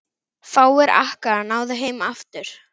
Fáir Akkea náðu heim aftur.